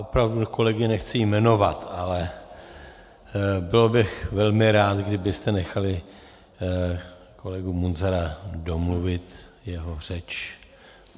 Opravdu kolegy nechci jmenovat, ale byl bych velmi rád, kdybyste nechali kolegu Munzara domluvit jeho řeč.